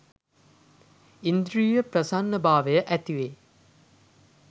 ඉන්ද්‍රිය ප්‍රසන්න භාවය ඇතිවේ.